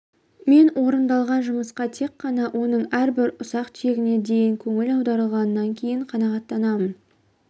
мен орындалған жұмысқа тек қана оның әрбір ұсақ түйегіне дейін көңіл аударылғаннан кейін қанағаттанамын